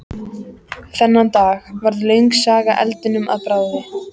Þennan dag varð löng saga eldinum að bráð.